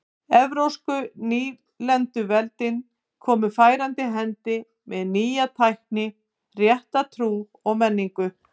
Evrópsku nýlenduveldin komu færandi hendi með nýja tækni og rétta trú og menningu.